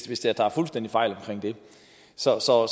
hvis jeg tager fuldstændig fejl i det så så